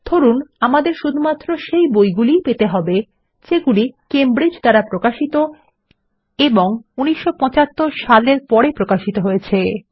ধরুন আমাদের শুধুমাত্র সেই বইগুলি ই পেতে হবে যেগুলি কেমব্রিজ দ্বারা প্রকাশিত এবং ১৯৭৫ সাল এর পরে প্রকাশিত হয়েছে